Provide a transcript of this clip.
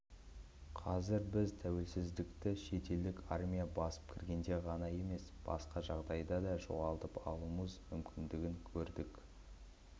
қазір біз тәуелсіздікті шетелдік армия басып кіргенде ғана емес басқа жағдайда да жоғалтып алуымыз мүмкіндігін көрдік